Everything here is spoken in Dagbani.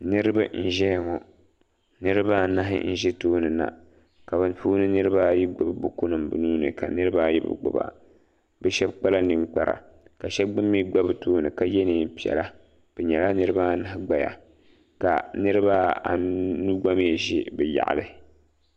niriba n ʒɛya ŋɔ niribaanahi n ʒɛ tuuni na ka puuni niribaayi gbabi bukunim bɛ nuuni ka niribaayi be gbaba be shɛbi kpala nɛkpara ka shɛbi gba mi gba be tuuni ka yɛ nɛpilla be nyɛla niribaanahi gbaya ka niribaanu gba mi ʒɛ be yaɣili